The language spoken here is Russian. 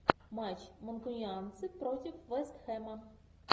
матч манкунианцы против вест хэма